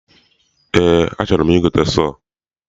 Eé, achọrọ m igote sọọ.